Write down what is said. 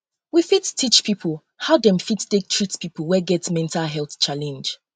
we fit teach pipo um how dem um fit take treat pipo wey get mental health challenge um